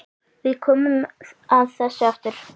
Við komum að þessu aftur.